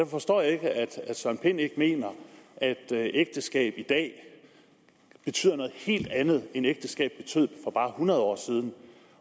forstår jeg ikke at herre søren pind ikke mener at ægteskab i dag betyder noget helt andet end ægteskab betød for bare hundrede år siden